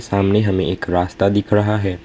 सामने हमें एक रास्ता दिख रहा है।